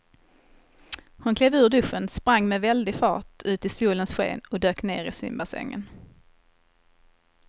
Hon klev ur duschen, sprang med väldig fart ut i solens sken och dök ner i simbassängen.